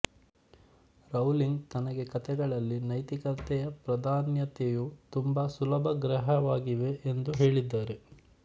Rowling ತನಗೆ ಕತೆಗಳಲ್ಲಿ ನೈತಿಕತೆಯ ಪ್ರಾಧಾನ್ಯತೆಯು ತುಂಬ ಸುಲಭಗ್ರಾಹ್ಯವಾಗಿದೆ ಎಂದು ಹೇಳಿದ್ದಾರೆ